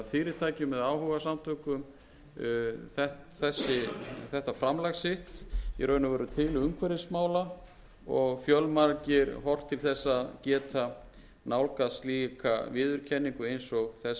fyrirtækjum eða áhugasamtökum þetta framlag sitt í raun og veru til umhverfismála og fjölmargir horft til þess að geta nálgast slíka viðurkenningu eins og þessi